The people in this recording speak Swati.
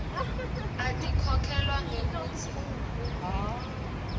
atikhokhelwa ngekutsi ungene